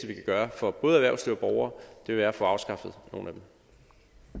kan gøre for både erhvervsliv og borger vil være at få afskaffet nogle